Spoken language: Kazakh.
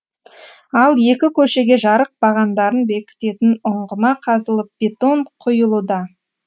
ал екі көшеге жарық бағандарын бекітетін ұңғыма қазылып бетон құюлуда